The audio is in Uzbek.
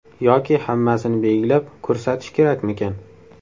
Yoki hammasini belgilab, ko‘rsatish kerakmikan?